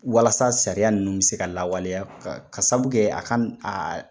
Walasa sariya ninnu bɛ se ka lawaleya k'a sabu kɛ a kana